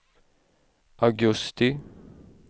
augusti